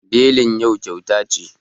Belin yau kyauta ce